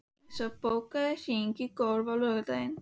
Ingisól, bókaðu hring í golf á laugardaginn.